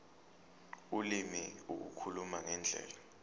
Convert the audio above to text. ulimi ukukhuluma ngendlela